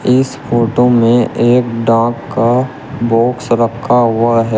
इस फोटो में एक डाक का बॉक्स रखा हुआ है।